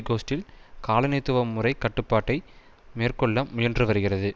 கோஸ்ட்டில் காலனித்துவ முறைக் கட்டுப்பாட்டை மேற்கொள்ள முயன்று வருகிறது